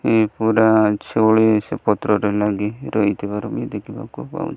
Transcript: ୟେ ପୁରା ଚୋଲେ ପତ୍ରରେ ଲାଗିରହିଥିବାର ଦେଖିବାକୁ ପାଉଛୁ।